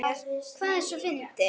Hvað er svona fyndið?